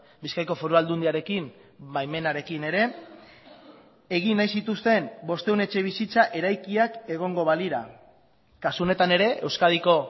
bizkaiko foru aldundiarekin baimenarekin ere egin nahi zituzten bostehun etxebizitza eraikiak egongo balira kasu honetan ere euskadiko